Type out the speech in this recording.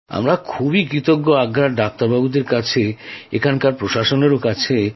আমরা খুব কৃতজ্ঞ আগ্রার ডাক্তারদের কাছে এখানকার প্রশাসনের কাছে